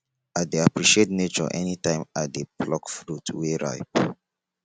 i dey appreciate nature anytime i dey pluck fruit wey ripe